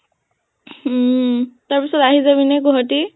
উম তাৰ পিছত আহি যাবি নে গুৱাহাটী?